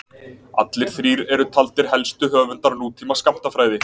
Allir þrír eru taldir helstu höfundar nútíma skammtafræði.